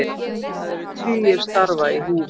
Það eru tugir starfa í húfi